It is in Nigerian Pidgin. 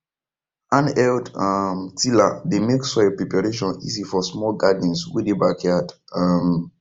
handheld um tiller dey make soil preparation easy for small gardens wey dey backyard um